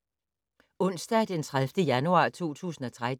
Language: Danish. Onsdag d. 30. januar 2013